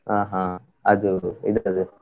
ಹ ಹ, ಅದು ಇದ್ರದ್ದು.